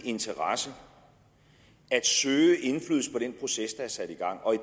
interesse at søge indflydelse på den proces der er sat i gang og i